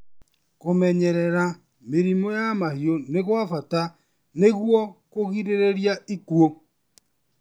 Kũmenyerera mĩrimũ ya mahiũ nĩ gwa bata nĩguo kũrigĩrĩria ikũũ.